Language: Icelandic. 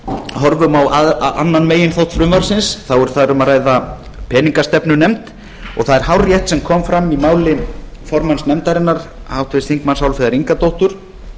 horfum á annan meginþátt frumvarpsins er þar um að ræða peningastefnunefnd og það er hárrétt sem kom fram í máli formanns nefndarinnar háttvirtur þingmaður álfheiðar ingadóttur